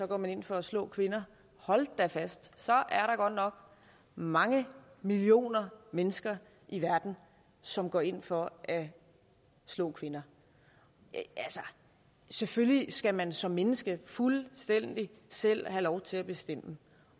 går man ind for at slå kvinder hold da fast så er der godt nok mange millioner mennesker i verden som går ind for at slå kvinder selvfølgelig skal man som menneske fuldstændig selv have lov til at bestemme